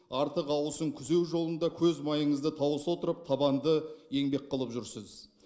артық ауысын күзеу жолында көз майыңызды тауыса отырып табанды еңбек қылып жүрсіз